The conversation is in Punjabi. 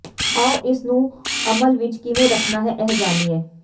ਆਉ ਇਸ ਨੂੰ ਅਮਲ ਵਿੱਚ ਕਿਵੇਂ ਰੱਖਣਾ ਹੈ ਇਹ ਜਾਣੀਏ